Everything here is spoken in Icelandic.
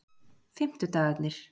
fimmtudagarnir